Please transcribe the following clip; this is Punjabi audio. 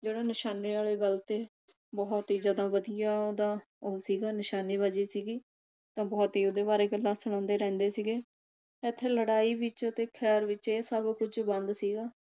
ਜਿਹੜੇ ਨਿਸ਼ਾਨੇ ਵਾਲੇ ਗੱਲ ਤੇ ਬਹੁਤ ਹੀ ਜਿਆਦਾ ਵਧੀਆ ਉਹਦਾ ਉਹ ਸੀਗਾ ਨਿਸ਼ਾਨੇਬਾਜੀ ਸੀਗੀ ਤਾਂ ਬਹੁਤ ਹੀ ਉਹਦੇ ਬਾਰੇ ਗੱਲਾਂ ਸੁਣਾਦੇ ਰਹਿੰਦੇ ਸੀਗੇ ਇਥੇ ਲੜਾਈ ਵਿਚ ਤੇ ਖੈਰ ਵਿਚ ਇਹ ਸਭ ਕੁਝ ਬੰਦ ਸੀਗਾ।